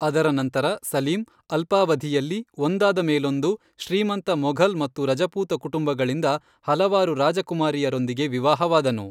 ಅದರ ನಂತರ, ಸಲೀಂ, ಅಲ್ಪಾವಧಿಯಲ್ಲಿ ಒಂದಾದಮೇಲೊಂದು, ಶ್ರೀಮಂತ ಮೊಘಲ್ ಮತ್ತು ರಜಪೂತ ಕುಟುಂಬಗಳಿಂದ ಹಲವಾರು ರಾಜಕುಮಾರಿಯರೊಂದಿಗೆ ವಿವಾಹವಾದನು.